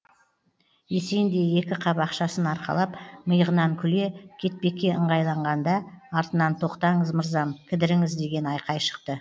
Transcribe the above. есен де екі қап ақшасын арқалап миығынан күле кетпекке ыңғайланғанда артынан тоқтаңыз мырзам кідіріңіз деген айқай шықты